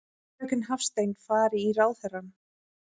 Fröken Hafstein fari í ráðherrann.